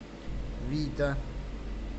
вита